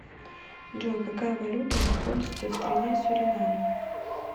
джой какая валюта используется в стране суринам